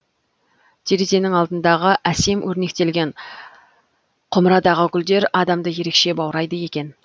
терезенің алдындағы әсем өрнектелген құмырадағы гүлдер адамды ерекше баурайды екен